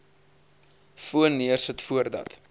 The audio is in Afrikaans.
foon neersit voordat